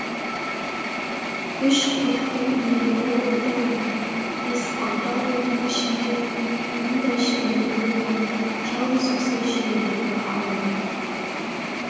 үш қорықтың иелері боп отырған бес-алты ауылдың ішінде мұндай шығынды көрген жалғыз осы жидебайдағы ауыл